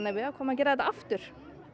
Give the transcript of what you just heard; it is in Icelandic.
við ákváðum að gera þetta aftur